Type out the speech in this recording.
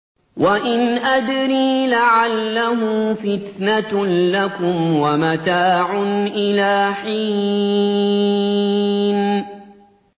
وَإِنْ أَدْرِي لَعَلَّهُ فِتْنَةٌ لَّكُمْ وَمَتَاعٌ إِلَىٰ حِينٍ